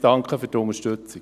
Danke für die Unterstützung.